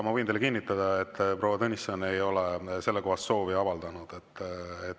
Ma võin teile kinnitada, et proua Tõnisson ei ole sellekohast soovi avaldanud.